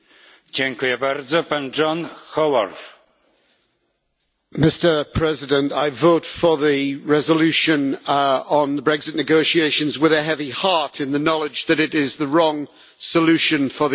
Mr President, I voted for the resolution on the Brexit negotiations with a heavy heart, in the knowledge that it is the wrong solution for the United Kingdom.